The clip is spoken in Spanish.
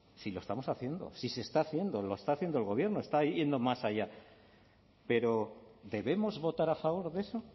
si lo estamos haciendo si se está haciendo lo está haciendo el gobierno está yendo más allá pero debemos votar a favor de eso